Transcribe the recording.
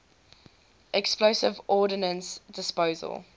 explosive ordnance disposal